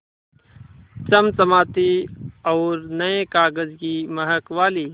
चमचमाती और नये कागज़ की महक वाली